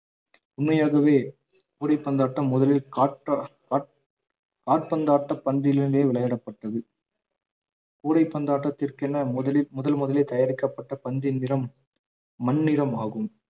உண்மையாகவே கூடைப்பந்தாட்டம் முதலில் காற்ற~ காற்~ காற்பந்தாட்ட பந்திலிருந்தே விளையாடப்பட்டது கூடைப்பந்தாட்டத்திற்கென முதலில் முதன்முதலில் தயாரிக்கப்பட்ட பந்தின் நிறம் மண்ணிறமாகும்